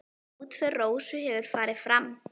Útför Rósu hefur farið fram.